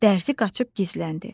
Dərzi qaçıb gizləndi.